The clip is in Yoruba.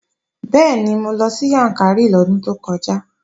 Bẹ́ẹ̀ni, mo lọ sí Yàǹkàrí lọ́dún tó kọjá